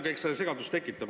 Eks see natuke segadust tekitab.